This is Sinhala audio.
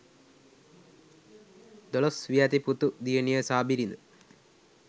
දොළොස් වියැති පුතු දියණිය සහ බිරිද